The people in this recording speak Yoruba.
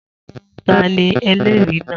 Ta ni ẹlẹ́rìí náà?